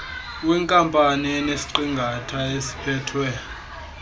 wenkampani enesiqingatha esiphethwe